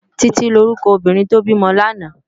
Titi ni órúkò óbìrín tó bimò làná